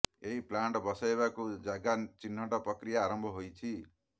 ଏହି ପ୍ଲାଣ୍ଟ ବସାଇବାକୁ ଜାଗା ଚିହ୍ନଟ ପ୍ରକ୍ରିୟା ଆରମ୍ଭ ହୋଇଛି